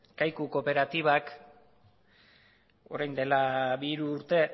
kaiku kooperatibak orain dela bi hiru urte